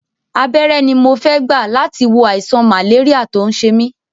Abẹ́rẹ́ ni mo fẹ́ gbà láti wo àìsàn màléríà tó ń ṣe mí